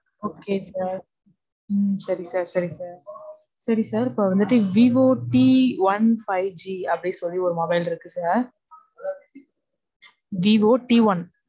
Okay sir. உம் சரி sir. சரி sir. சரி sir. இப்போ வந்துட்டு விவோ tone five G அப்படி சொல்லி ஒரு mobile இருக்கு sir. Vivo t one.